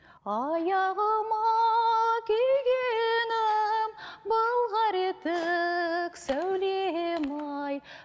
аяғыма кигенім былғары етік сәулем ай